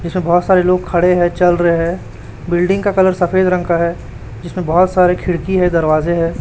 जिसमें बहोत सारे लोग खड़े हैं चल रहे हैं बिल्डिंग का कलर सफेद रंग का है जिसमें बहोत सारे खिड़की हैं दरवाजे हैं।